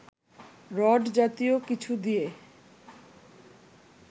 rod জাতীয় কিছু দিয়ে